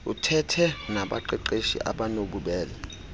uthethe nabaqeqeshi abanobubele